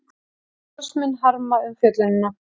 Starfsmenn harma umfjöllunina